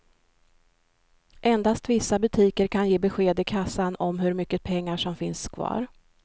Endast vissa butiker kan ge besked i kassan om hur mycket pengar som finns kvar.